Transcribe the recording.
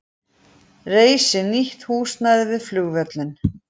Reisi nýtt húsnæði við flugvöllinn